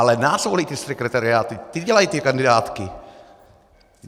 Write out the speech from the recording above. Ale nás volí ty sekretariáty, ty dělají ty kandidátky.